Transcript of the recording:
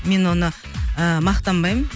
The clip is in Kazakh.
мен оны ы мақтанбаймын